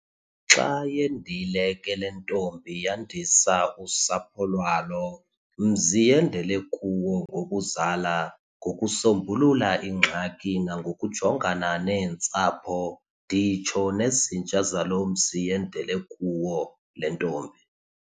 Xa yendile ke le ntombi yandisa usapho lwalo mzi yendele kuwo ngokuzala, ngokusombulula ingxaki nangokujongana neentsapho, nditsho nezinja zalo mzi yendele kuwo le ntombi.